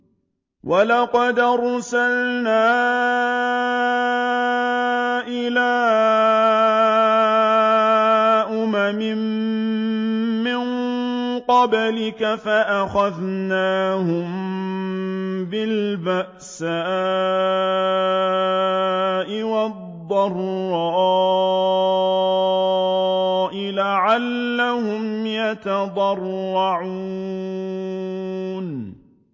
وَلَقَدْ أَرْسَلْنَا إِلَىٰ أُمَمٍ مِّن قَبْلِكَ فَأَخَذْنَاهُم بِالْبَأْسَاءِ وَالضَّرَّاءِ لَعَلَّهُمْ يَتَضَرَّعُونَ